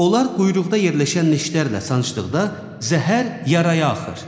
Onlar quyruqda yerləşən neştərlə sancdıqda zəhər yaraya axır.